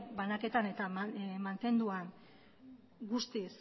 banaketan eta mantenuan guztiz